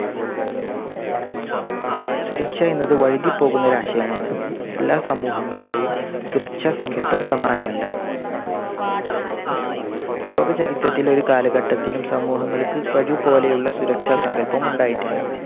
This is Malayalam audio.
സുരക്ഷ എന്നത് വഴുതി പോകുന്ന ഒരു ആശയമാണ്. എല്ലാ സമൂഹങ്ങളുടെയും സുരക്ഷാസങ്കല്പം സമ്മാനമല്ല. ലോകചരിത്രത്തിലെ ഒരു കാലഘട്ടത്തിലും സമൂഹങ്ങൾക്ക് ഒരുപോലെയുള്ള സുരക്ഷാസങ്കല്പം ഉണ്ടായിട്ടില്ല.